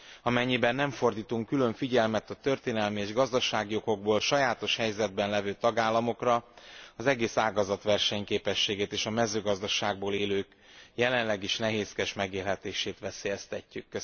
Amennyiben nem fordítunk külön figyelmet a történelmi és gazdasági okokból sajátos helyzetben levő tagállamokra, az egész ágazat versenyképességét és a mezőgazdaságból élők jelenleg is nehézkes megélhetését veszélyeztetjük.